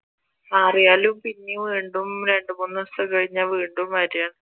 മാറിയാലും പിന്നേം വീണ്ടും രണ്ടുമൂന്നു ദിവസം കഴിഞ്ഞ വീണ്ടും വരാണ്